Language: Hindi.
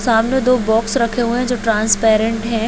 सामने दो बॉक्स हुए है जो ट्रांसपेरेंट है।